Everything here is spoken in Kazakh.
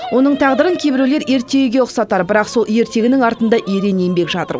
оның тағдырын кейбіреулер ертегіге ұқсатар бірақ сол ертегінің артында ерен еңбек жатыр